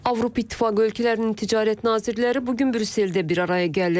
Avropa İttifaqı ölkələrinin ticarət nazirləri bu gün Brüsseldə bir araya gəlir.